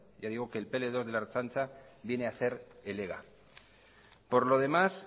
ya digo que el pl dos de la ertzaintza viene a ser el ega por lo demás